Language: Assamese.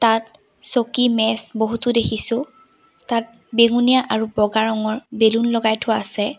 তাত চকী মেজ বহুতো দেখিছোঁ তাত বেঙুনীয়া আৰু বগা ৰঙৰ বেলুন লগাই থোৱা আছে।